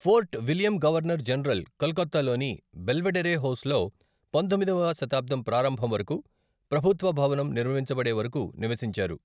Fort William governor general కలకత్తాలోని Belvedere హౌస్లో పందొమ్మిదవ శతాబ్దం ప్రారంభం వరకు, ప్రభుత్వ భవనం నిర్మించబడే వరకు నివసించారు.